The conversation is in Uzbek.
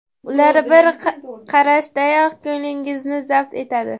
Ular bir qarashdayoq ko‘nglingizni zabt etadi.